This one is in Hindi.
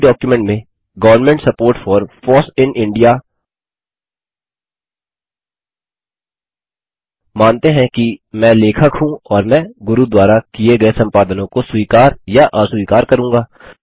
उसी डॉक्युमेंट में government support for foss in India मानते हैं कि मैं लेखक हूँ और मैं गुरू द्वारा किये गये संपादनों को स्वीकार या अस्वीकार करूँगा